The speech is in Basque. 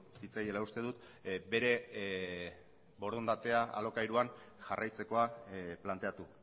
zitzaiela uste dut bere borondatea alokairuan jarraitzekoa planteatu